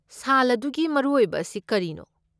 ꯁꯥꯜ ꯑꯗꯨꯒꯤ ꯃꯔꯨꯑꯣꯏꯕ ꯑꯁꯤ ꯀꯔꯤꯅꯣ?